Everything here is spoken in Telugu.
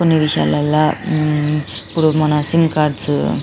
కొన్ని విశాలల్లో ఉమ్ ఇప్పుడు మన సిం కార్డ్స్